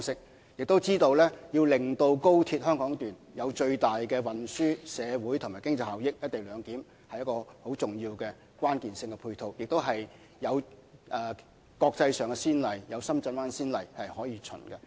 我們也知道，要令高鐵香港段發揮最大的運輸、社會和經濟效益，"一地兩檢"是一個重要的關鍵性配套，同時也有國際上的先例或深圳灣口岸這先例可循。